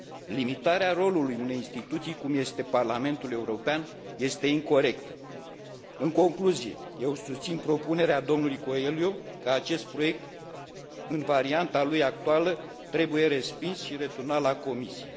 Limitarea rolului unei instituții cum este Parlamentul European este incorectă. În concluzie, eu susțin propunerea domnului Coelho, că acest proiect, în varianta lui actuală, trebuie respins și returnat la Comisie.